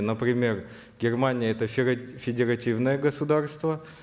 например германия это федеративное государство